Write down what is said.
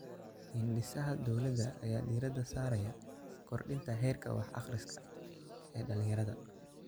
Hindisaha dowladda ayaa diiradda saaraya kordhinta heerka wax-akhris ee dhallinyarada.